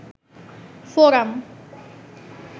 forum